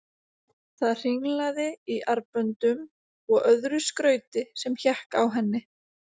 Það hringlaði í armböndum og öðru skrauti sem hékk á henni.